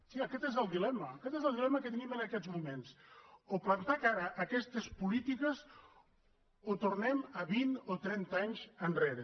sí aquest és el dilema aquest és el dilema que tenim en aquests moments o plantar cara a aquestes polítiques o tornem vint o trenta anys enrere